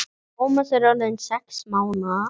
Tómas er orðinn sex mánaða.